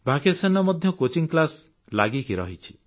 Vacationରେ ମଧ୍ୟ coaching class ଲାଗି ରହେ